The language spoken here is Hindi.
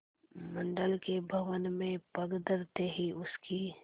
मंडल के भवन में पग धरते ही उसकी